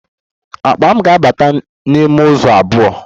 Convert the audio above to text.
Akpa m ga-abata n'ime izu abụọ